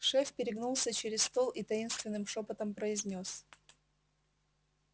шеф перегнулся через стол и таинственным шёпотом произнёс